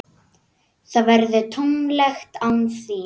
Það verður tómlegt án þín.